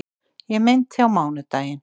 Ég meinti á mánudaginn.